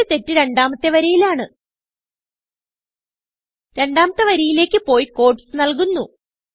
ഇവിടെ തെറ്റ് രണ്ടാമത്തെ വരിയിലാണ് രണ്ടാമത്തെ വരിയിലേക്ക് പോയി ക്യൂട്ടീസ് നല്കുന്നു